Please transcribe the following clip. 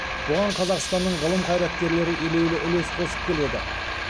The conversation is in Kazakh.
бұған қазақстанның ғылым қайраткерлері елеулі үлес қосып келеді